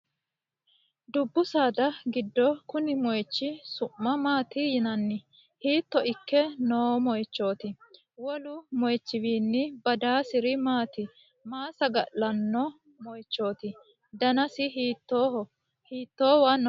Dubbu saada gido konni moichi su'ma maati yinanni? Hiitto ikke noo moichooti? Wolu moichiwiinni badaasiri maati? Maa saga'linanno moichooti? Danasi hiittooho? Hiittoowa no?